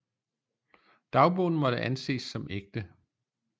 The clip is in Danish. Dagbogen måtte anses som ægte